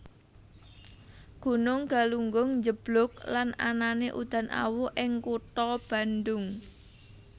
Gunung Galunggung njeblug lan anané udan awu ing kutha Bandung